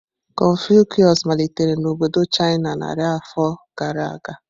Confucius malitere na obodo China narị afọ gara aga.